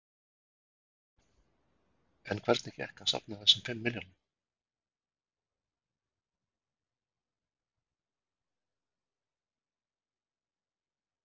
En hvernig gekk að safna þessum fimm milljónum?